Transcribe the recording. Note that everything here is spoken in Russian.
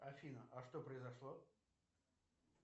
афина а что произошло